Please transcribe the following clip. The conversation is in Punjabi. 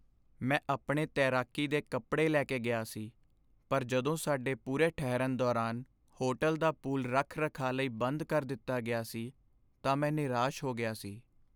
ਮੈਂ ਆਪਣੇ ਤੈਰਾਕੀ ਦੇ ਕੱਪੜੇ ਲੈ ਕੇ ਗਿਆ ਸੀ ਪਰ ਜਦੋਂ ਸਾਡੇ ਪੂਰੇ ਠਹਿਰਨ ਦੌਰਾਨ ਹੋਟਲ ਦਾ ਪੂਲ ਰੱਖ ਰਖਾਅ ਲਈ ਬੰਦ ਕਰ ਦਿੱਤਾ ਗਿਆ ਸੀ ਤਾਂ ਮੈਂ ਨਿਰਾਸ਼ ਹੋ ਗਿਆ ਸੀ